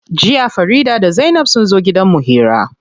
Jiya Farida da zainab sunzo gidan mu hira.